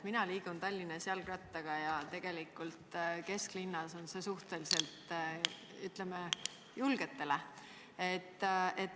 Mina liigun Tallinnas jalgrattaga ja tegelikult kesklinnas on see suhteliselt, ütleme, julgetele.